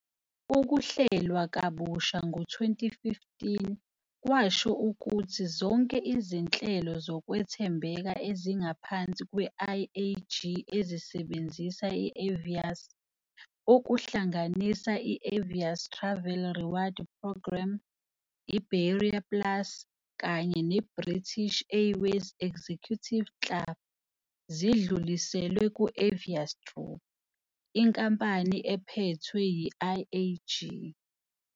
Ukuhlelwa kabusha ngo-2015 kwasho ukuthi zonke izinhlelo zokwethembeka ezingaphansi kwe-IAG ezisebenzisa i-Avios, okuhlanganisa i-Avios Travel Reward Programme, Iberia Plus kanye neBritish Airways Executive Club zidluliselwe ku- Avios Group, inkampani ephethwe yi-IAG.